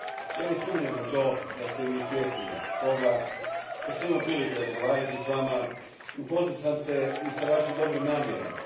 Ja ne sumnjam u to da ste svjesni toga, imao sam priliku razgovarati s vama i upoznao sam se s vašim dobrim namjerama.